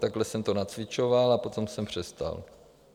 Takhle jsem to nacvičoval, a potom jsem přestal.